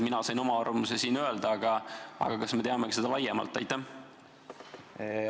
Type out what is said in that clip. Mina sain oma arvamuse siin öelda, aga kas me teame ka seda arvamust laiemalt?